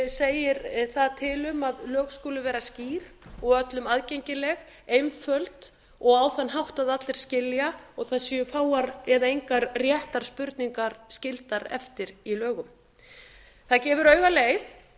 segir þar til um að lög skuli vera skýr og öllum aðgengileg einföld og á þann hátt að allir skilji og það séu fáar eða engar réttarspurningar skildar eftir í lögum það gefur auga leið